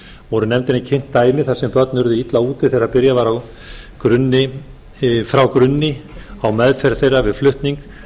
voru nefndinni kynnt dæmi þar sem börn urðu illa úti þegar byrjað var frá grunni á meðferð þeirra við flutning